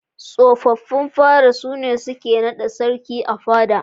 Tsofin fada sune suke naɗa sarki a fada.